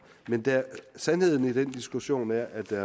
men sandheden i den diskussion er at der